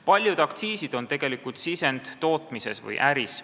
Paljud aktsiisid on tegelikult sisend tootmises või äris.